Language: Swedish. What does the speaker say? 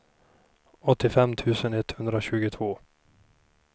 åttiofem tusen etthundratjugotvå